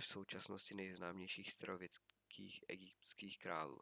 v současnosti nejznámějších starověkých egyptských králů